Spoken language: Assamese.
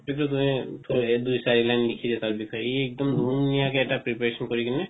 দুই চাৰি line লিখিলে তাৰ বিষয়ে একদম ধুনিয়াকে এটা preparation কৰি কিনে